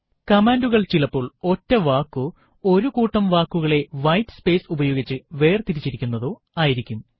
കമാൻഡുകൾ ചിലപ്പോൾ ഒറ്റ വാക്കോ ഒരു കൂട്ടം വാക്കുകളെ വൈറ്റ് സ്പേയ്സ് ഉപയോഗിച്ച് വേർതിരിച്ചിരിക്കുന്നതോ ആയിരിക്കും